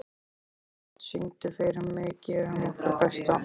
Sjöfn, syngdu fyrir mig „Gerum okkar besta“.